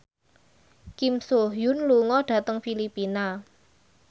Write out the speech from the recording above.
Kim So Hyun lunga dhateng Filipina